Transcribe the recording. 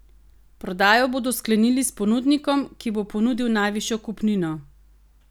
Prodajo bodo sklenili s ponudnikom, ki bo ponudil najvišjo kupnino.